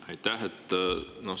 Aitäh!